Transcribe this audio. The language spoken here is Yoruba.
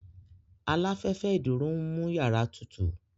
Aláfẹ́fẹ́ ìdúró ń mú yàrá tutù